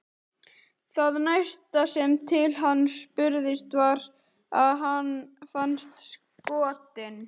Það næsta sem til hans spurðist var að hann fannst skotinn.